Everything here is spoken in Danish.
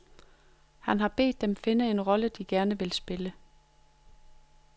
Han har bedt dem finde en rolle de gerne ville spille.